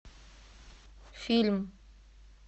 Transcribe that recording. фильм